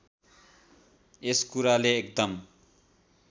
यस कुराले एकदम